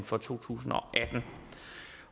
for to tusind